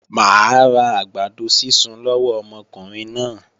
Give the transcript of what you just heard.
Mà á ra àgbàdo sísun lọ́wọ́ ọmọkùnrin náà.